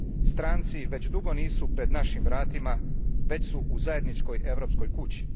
Stranci već dugo nisu pred našim vratima, već su u zajedničkoj europskoj kući.